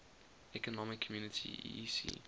economic community eec